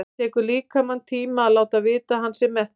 Það tekur líkamann tíma að láta vita að hann sé mettur.